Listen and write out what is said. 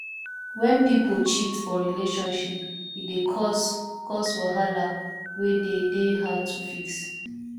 when pipo cheat for relationship e dey cause cause wahala wey de dey hard to fix